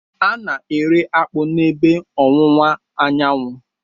A na-eri akpu n'ebe ọwụwa anyanwụ.